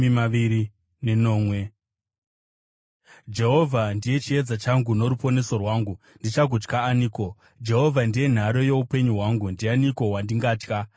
Jehovha ndiye chiedza changu noruponeso rwangu, ndichagotya aniko? Jehovha ndiye nhare youpenyu hwangu, ndianiko wandingatya?